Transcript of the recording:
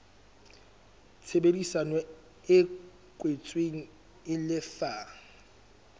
tshebedisano e kwetsweng e lefa